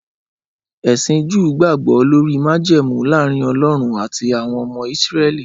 Ẹsìn Júù gbàgbọ́ lórí májẹ̀mú láàrin Ọlọ́run àti àwọn ọmọ Ísírẹ́lì